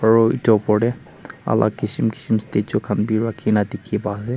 Aru etu opor te alak kisim kisim statue khan bi rakhina dikhi pai ase.